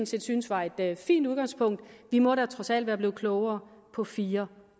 set synes var et fint udgangspunkt vi må da trods alt være blevet klogere på fire